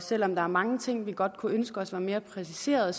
selv om der er mange ting vi godt kunne ønske os var mere præciseret